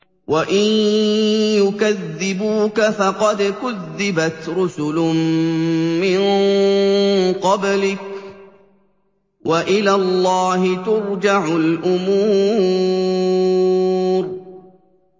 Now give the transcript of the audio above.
وَإِن يُكَذِّبُوكَ فَقَدْ كُذِّبَتْ رُسُلٌ مِّن قَبْلِكَ ۚ وَإِلَى اللَّهِ تُرْجَعُ الْأُمُورُ